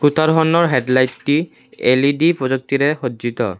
Scooter খনৰ headlight টি L E D প্ৰযুক্তিৰে সজ্জিত।